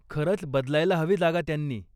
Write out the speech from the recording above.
खरंच बदलायला हवी जागा त्यांनी.